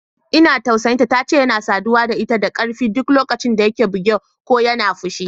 Ina jin tausayin ta, tace yana saduwa da ita da ƙarfi duk lokacin da yake buge ko yana fushi.